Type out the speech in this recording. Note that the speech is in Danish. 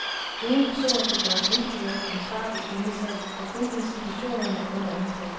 Ingen personer kan gøres individuelt ansvarlige i denne sag, hvor kun institutionerne er under anklage.